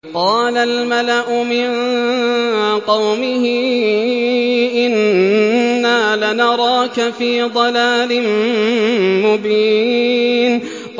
قَالَ الْمَلَأُ مِن قَوْمِهِ إِنَّا لَنَرَاكَ فِي ضَلَالٍ مُّبِينٍ